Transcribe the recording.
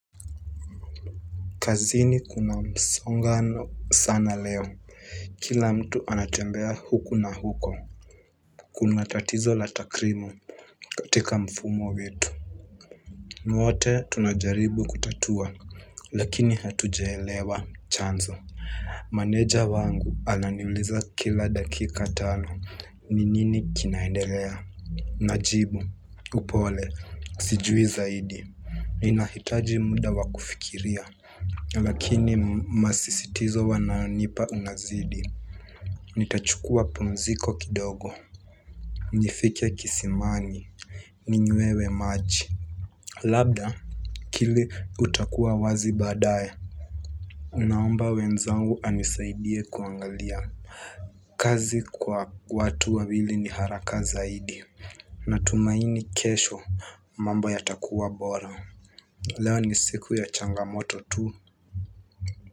Kazini kuna msongano sana leo. Kila mtu anatembea huku na huko. Kuna tatizo la takrim katika mfumo wetu. Wote tunajaribu kutatua. Lakini hatujaelewa chanzo. Manager wangu alani uliza kila dakika tano. Ni nini kinaendelea? Najibu. Upole. Sijui zaidi. Nina hitaji muda wakufikiria. Lakini masisitizo wananipa unazidi. Nita chukua pumziko kidogo. Nifike kisimani. Ninywewe maji. Labda kili utakuwa wazi badae. Naomba wenzangu anisaidie kuangalia. Kazi kwa watu wawili ni haraka zaidi. Natumaini kesho mambo yata kuwa bora. Leo ni siku ya changamoto tu.